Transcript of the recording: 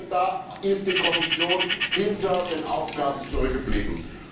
Da ist die Kommission hinter den Aufgaben zurückgeblieben.